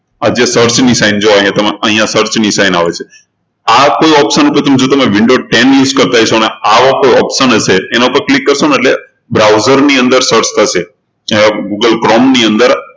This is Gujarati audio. આ જે search ની sign આ જે જો અહિયાં search ની sign આવે છે આ કોઈ option જો તમારે window ten use કરતા હોય એ સમયે આવો કોઈ option હશે એના પર click કરશો એટલે browser ની અંદર search થશે google chrome ની અંદર